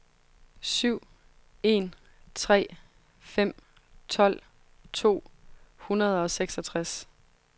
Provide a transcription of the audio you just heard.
syv en tre fem tolv to hundrede og seksogtres